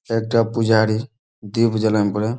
একটা পূজারী দীপ জ্বালায় ন পরে--